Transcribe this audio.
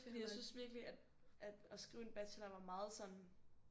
Fordi jeg synes virkelig at at skrive en bachelor var meget sådan